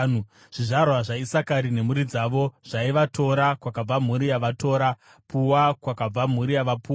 Zvizvarwa zvaIsakari nemhuri dzavo zvaiva: Tora, kwakabva mhuri yavaTora; Pua kwakabva mhuri yavaPua;